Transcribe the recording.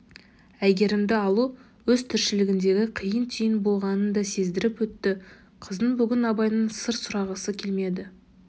әйгерімді алу өз тіршілігіндегі қиын түйін болғанын да сездіріп өтті қыздың бүгін абайдан сыр сұрағысы келмеді